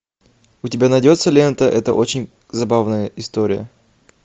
у тебя найдется лента это очень забавная история